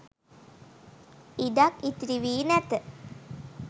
ඉඩක් ඉතිරි වී නැත